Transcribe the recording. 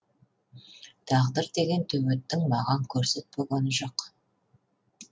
тағдыр деген төбеттің маған көрсетпегені жоқ